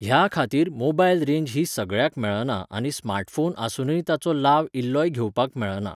ह्या खातीर mobile range ही सगळ्याक मेळना आनी smartphone आसूनय ताचो लाव इल्लोय घेवपाक मेळना